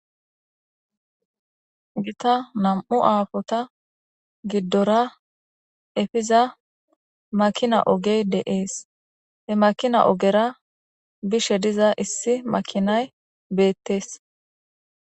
gita nam7u aafota giddora efiza makina ogey deees he makina ogera bishe diza issi makinay beettees